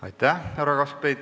Aitäh, härra Kaskpeit!